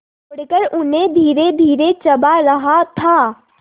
तोड़कर उन्हें धीरेधीरे चबा रहा था